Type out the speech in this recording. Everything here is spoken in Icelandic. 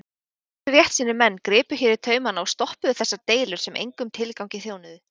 Nokkrir réttsýnir menn gripu hér í taumana og stoppuðu þessar deilur sem engum tilgangi þjónuðu.